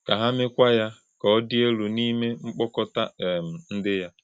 Kà hà̄ mékwà̄ Yá kà Ọ́ dì̄ élú n’ìmé̄ mkpọ̀kọ̀tà̄ um ndị́.